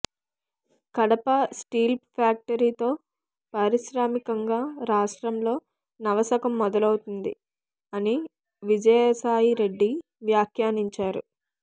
Kadapa steel factory తో పారిశ్రామికంగా రాష్ట్రంలో నవశకం మొదలవుతుంది అని విజయసాయి రెడ్డి వ్యాఖ్యానించారు